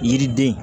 Yiriden